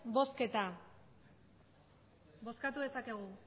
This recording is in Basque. bozketa bozkatu dezakegu